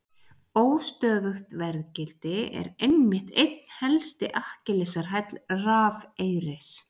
Óstöðugt verðgildi er einmitt einn helsti Akkilesarhæll rafeyris.